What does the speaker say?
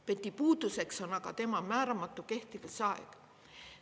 PET-i puuduseks on aga tema määramatu kehtivusaeg.